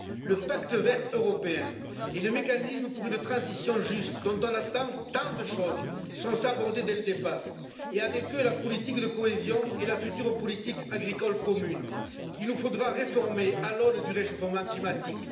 Le pacte vert européen et le mécanisme pour une transition juste dont on attend tant de choses sont sabordés dès le départ, et avec eux la politique de cohésion et la future politique agricole commune, qu'il nous faudra réformer à l'aune du réchauffement climatique.